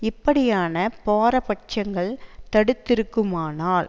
இப்படியான பாரபட்சங்கள் தடுத்திருக்குமானால்